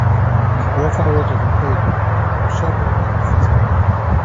i go offer words of encouragement to someone wey dey face challenges